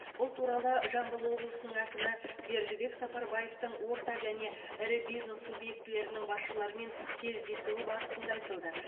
бұл туралы жамбыл облысының әкімі бердібек сапарбаевтың орта және ірі бизнес субъектілерінің басшыларымен кездесуі барысында айтылды